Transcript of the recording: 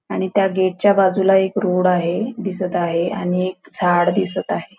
आणि त्या गेट च्या बाजूला एक रोड आहे दिसत आहे आणि एक झाड दिसत आहे.